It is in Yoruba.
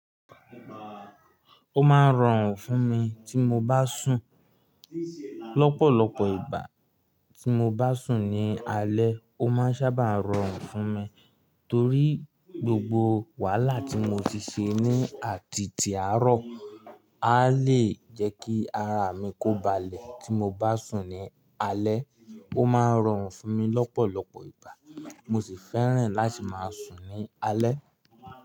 Ó máa ń rọrùn fún mi tí mo bá sùn. Lọ́pọ̀lọpọ̀ ìgbà tí mo bá sùn ní alẹ́, ó máa ń sábà rọrùn fún mi torí gbogbo wàhálà tí mo ti ṣe ní àti tí aarọ̀, a lè jẹ́ kí ara mi kó balẹ̀ tí mo bá sùn ní alẹ́. Ó máa ń rọrùn fún mi lọ́pọ̀lọpọ̀ ìgbà, mo sì fẹ́ràn láti máa sùn ní alẹ́.